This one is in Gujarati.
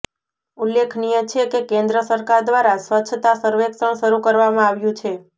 ઉલ્લેખનીય છે કે કેન્દ્ર સરકાર દ્વારા સ્વચ્છતા સર્વેક્ષણ શરૂ કરવામાં આવ્યું છે